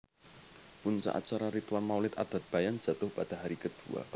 Puncak Acara Ritual Maulid Adat Bayan Jatuh Pada Hari Kedua